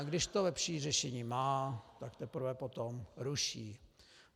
A když to lepší řešení má, tak teprve potom ruší.